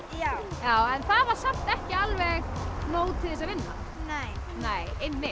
já en það var samt ekki alveg nóg til þess að vinna nei